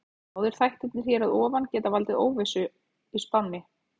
Báðir þættirnir hér að ofan geta valdið óvissu í spánni.